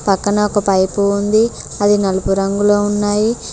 పక్కన ఒక పైపు ఉంది అది నలుపు రంగులో ఉన్నాయి.